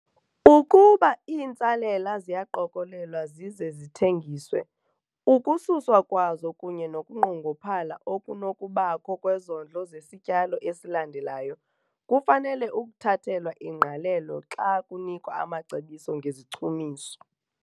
Ukuba iintsalela ziyaqokelelwa zize zithengiswe, ukususwa kwazo kunye nokunqongophala okunokubakho kwezondlo zesityalo esilandelayo kufanele ukuthathelwa ingqalelo xa kunikwa amacebiso ngezichumiso.